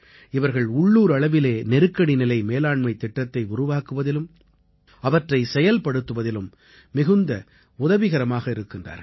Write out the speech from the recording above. இவர்கள் உள்ளூர் அளவிலே நெருக்கடி நிலை மேலாண்மைத் திட்டத்தை உருவாக்குவதிலும் அவற்றை செயல்படுத்துவதிலும் மிகுந்த உதவிகரமாக இருக்கின்றார்கள்